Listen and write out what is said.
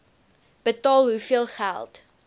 betaal hoeveel geld